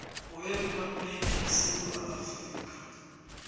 weriphabhligi yesewula afrika